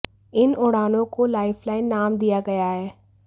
इन उड़ानों को lifeline नाम दिया गया है